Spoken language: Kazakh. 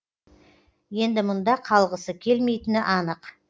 енді мұнда қалғысы келмейтіні анық